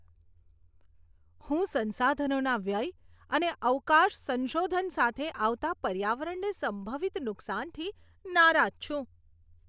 હું સંસાધનોના વ્યય અને અવકાશ સંશોધન સાથે આવતા પર્યાવરણને સંભવિત નુકસાનથી નારાજ છું.